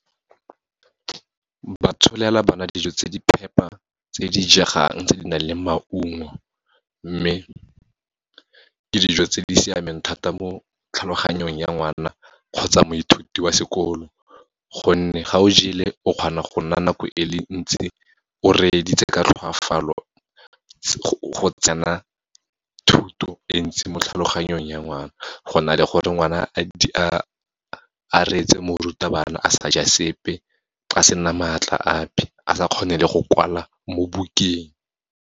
Ba tsholela bana dijo tse di phepa, tse di jegang tse di nang le maungo. Mme, ke dijo tse di siameng thata mo tlhaloganyong ya ngwana, kgotsa moithuti wa sekolo, gonne ga o jele o kgona go nna nako e le ntsi o reeditse ka tlhoafalo, go tsena thuto e ntsi mo tlhaloganyong ya ngwana, go na le gore ngwana a retse morutabana a sa ja sepe, a se na maatla ape, a sa kgone le go kwala mo bukeng.